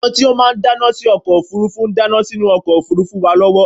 àwọn tí ó máà ń dáná sí ọkọ òfurufú ń dáná sínú ọkọ òfurufú wa lọwọ